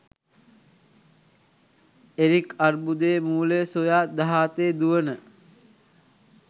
Eric අර්බුදයේ මූලය සොයා දහ අතේ දුවන